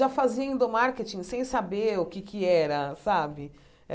Já fazia endomarketing sem saber o que é que era, sabe?